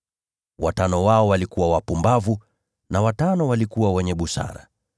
Watano wao walikuwa wapumbavu na watano walikuwa wenye busara.